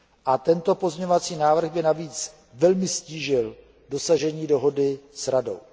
A tento pozměňovací návrh by navíc velmi ztížil dosažení dohody s Radou.